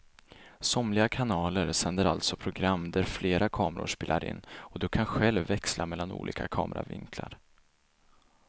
Somliga kanaler sänder alltså program där flera kameror spelar in och du kan själv växla mellan olika kameravinklar.